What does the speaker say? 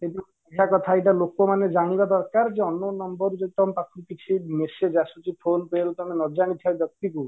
ଏଇଟା ଲୋକ ମାନେ ଜାଣିବା ଦରକାର ଯେ unknown number ରୁ ଯଦି ତମ ପାଖକୁ କିଛି message ଆସୁଛି phone pay ରୁ ତମେ ନ ଜାଣିଥିବା ବ୍ୟକ୍ତି କୁ